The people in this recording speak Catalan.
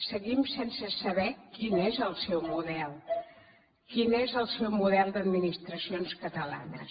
seguim sense saber quin és el seu model quin és el seu model d’administracions catalanes